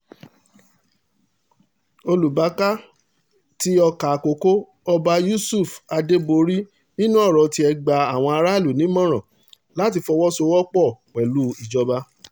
olùbákà tí ọkà àkọ́kọ́ ọba yusuf adéborí nínú ọ̀rọ̀ tiẹ̀ gba àwọn aráàlú nímọ̀ràn láti fọwọ́sowọ́pọ̀ láti fọwọ́sowọ́pọ̀ pẹ̀lú ìjọba